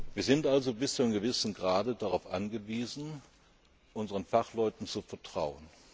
Wir sind also bis zu einem gewissen Grad darauf angewiesen, unseren Fachleuten zu vertrauen.